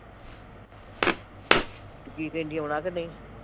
ਤੇ ਕੀ ਕਹਿੰਦੀ ਆਉਣਾ ਕਿ ਨਹੀਂ